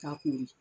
K'a kori